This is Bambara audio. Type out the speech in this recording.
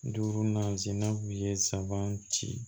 Duuru nazinan b'u ye sabanan ci